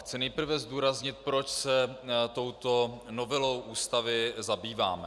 Chci nejprve zdůraznit, proč se touto novelou Ústavy zabýváme.